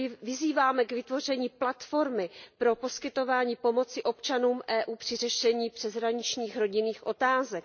Vyzýváme k vytvoření platformy pro poskytování pomoci občanům Evropské unie při řešení přeshraničních rodinných otázek.